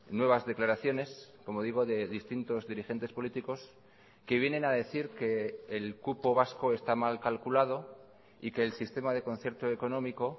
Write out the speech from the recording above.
nuevas declaraciones como digo de distintos dirigentes políticos que vienen a decir que el cupo vasco está mal calculado y que el sistema de concierto económico